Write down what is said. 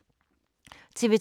TV 2